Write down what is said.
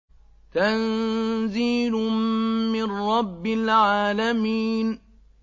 تَنزِيلٌ مِّن رَّبِّ الْعَالَمِينَ